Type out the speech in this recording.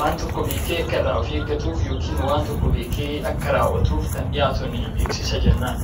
waan tokko beekee Akka irraa of eeggatuuf yookiin Akka raawwatuuf kan dhiyaatudha.